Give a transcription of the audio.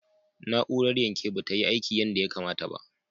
Na'urar yanke ba ta yi aiki yadda ya kamata ba.